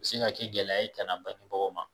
U bɛ sin ka kɛ gɛlɛya ye kana bangebagaw ma.